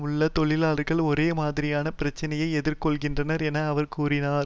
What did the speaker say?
உள்ள தொழிலாளர்கள் ஒரே மாதிரியான பிரச்சினையையே எதிர்கொள்கின்றனர் என அவர் கூறினார்